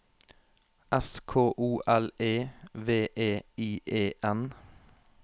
S K O L E V E I E N